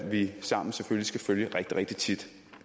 vi sammen selvfølgelig skal følge rigtig rigtig